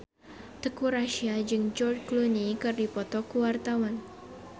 Teuku Rassya jeung George Clooney keur dipoto ku wartawan